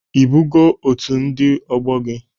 Ị bago otu ndị ọgbọ gị?